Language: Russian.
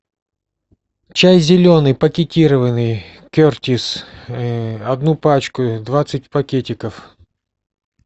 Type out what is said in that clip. чай зеленый пакетированный кертис одну пачку двадцать пакетиков